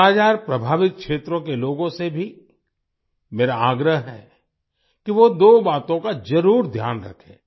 कालाजार प्रभावित क्षेत्रों के लोगों से भी मेरा आग्रह है कि वो दो बातों का जरूर ध्यान रखें